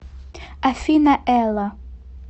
афина элла